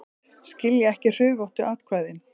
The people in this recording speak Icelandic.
Skilja ekki hrufóttu atkvæðin